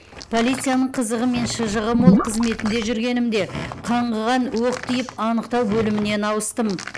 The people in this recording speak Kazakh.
полицияның қызығы мен шыжығы мол қызметінде жүргенімде қаңғыған оқ тиіп анықтау бөлімінен ауыстым